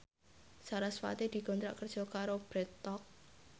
sarasvati dikontrak kerja karo Bread Talk